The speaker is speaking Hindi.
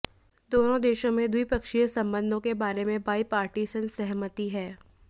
दोनों देशों में द्विपक्षीय संबंधों के बारे में बाईपारटीसन सहमति है